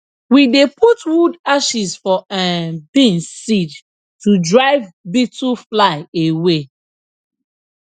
we dey put wood ashes for um beans seed to drive beetlefly away